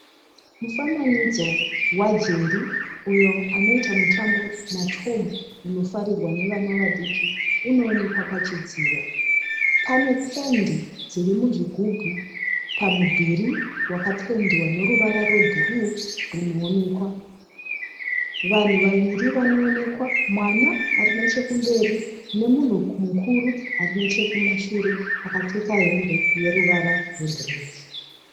Mufananidzo waJerry uyo anoita mutambo naTom unofarirwa nevana vadiki unowonekwa pachidziro. Pane pendi dziri muzvigubhu pamudhuri wakapendwa neruvara rwebhuruu rwunoonekwa. Vanhu vaviri vanoonekwa mwana ari nechekumberi nemunhu mukuru ari nechekumashure akapfeka hembe yeruva rwebhureki.